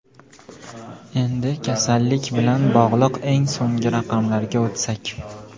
Endi kasallik bilan bog‘liq eng so‘nggi raqamlarga o‘tsak.